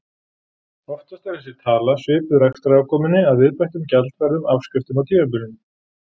Oftast er þessi tala svipuð rekstrarafkomunni að viðbættum gjaldfærðum afskriftum á tímabilinu.